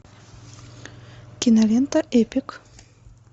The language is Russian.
кинолента эпик